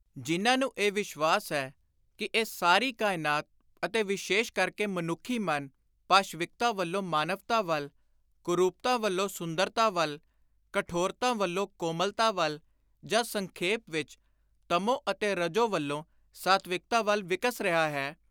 ਜਿਨ੍ਹਾਂ ਨੂੰ ਇਹ ਵਿਸ਼ਵਾਸ ਹੈ ਕਿ ਇਹ ਸਾਰੀ ਕਾਇਨਾਤ ਅਤੇ ਵਿਸ਼ੇਸ਼ ਕਰਕੇ ਮਨੁੱਖੀ ਮਨ ਪਾਸ਼ਵਿਕਤਾ ਵੱਲੋਂ ਮਾਨਵਤਾ ਵੱਲ, ਕੁਰੁਪਤਾ ਵੱਲੋਂ ਸੁੰਦਰਤਾ ਵੱਲ, ਕਠੋਰਤਾ ਵੱਲੋਂ ਕੋਮਲਤਾ ਵੱਲ, ਜਾਂ ਸੰਖੇਪ ਵਿਚ, ਤਮੋ ਅਤੇ ਰਜੋ ਵੱਲੋਂ ਸਾਤਵਿਕਤਾ ਵੱਲ ਵਿਕਸ ਰਿਹਾ ਹੈ,